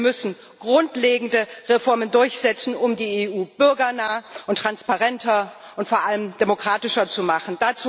Wir müssen grundlegende Reformen durchsetzen, um die EU bürgernah und transparenter und vor allem demokratischer zu machen.